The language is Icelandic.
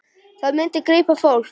Það myndi grípa fólk.